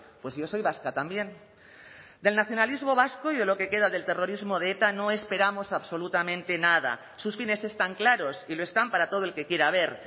pues yo soy vasca también del nacionalismo vasco y lo que queda del terrorismo de eta no esperamos absolutamente nada sus fines están claros y lo están para todo el que quiera ver